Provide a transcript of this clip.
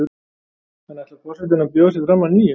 En ætlar forsetinn að bjóða sig fram að nýju?